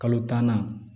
Kalo tan na